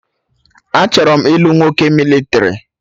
Achọrọ m ilu nwoke mịlịtrị